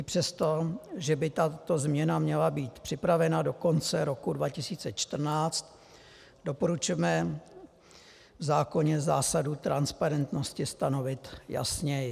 I přesto, že by tato změna měla být připravena do konce roku 2014, doporučujeme v zákoně zásadu transparentnosti stanovit jasněji.